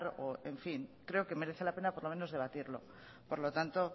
o en fin creo que merece la pena por lo menos debatirlo por lo tanto